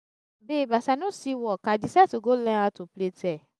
babe as i no see work i decide to go learn how to plait hair